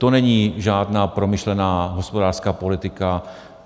To není žádná promyšlená hospodářská politika.